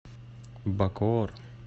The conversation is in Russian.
бакоор